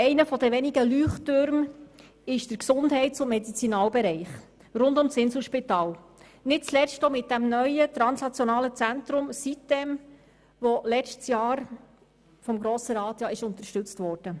Einer der wenigen Leuchttürme ist der Gesundheits- und Medizinaltechnikbereich rund um das Inselspital, nicht zuletzt mit dem neuen translationalen Zentrum siteminsel, welches letztes Jahr vom Grossen Rat unterstützt wurde.